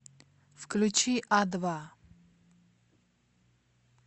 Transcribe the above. включи а два